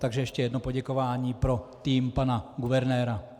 Takže ještě jedno poděkování pro tým pana guvernéra.